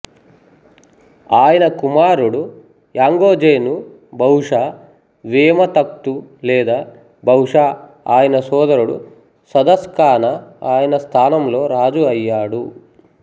ఆయన కుమారుడు యాంగోజెను బహుశా వేమా తఖ్తు లేదా బహుశా ఆయన సోదరుడు సదాస్కానా ఆయన స్థానంలో రాజు అయ్యాడు